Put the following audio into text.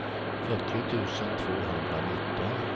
fyrtio tusen tvåhundranitton